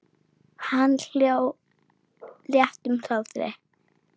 Hann hló léttum hlátri.